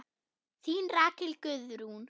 Þín Rakel Guðrún.